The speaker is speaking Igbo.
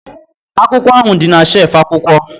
Akwụkwọ ahụ dị na shelf akwụkwọ